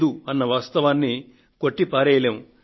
అన్న వాస్తవాన్ని కొట్టి పారేయలేము